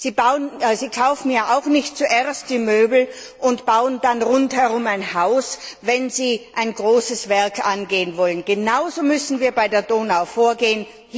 Sie kaufen ja auch nicht zuerst die Möbel und bauen dann rundherum ein Haus, wenn Sie ein großes Werk angehen wollen. Genauso müssen wir bei der Donau vorgehen.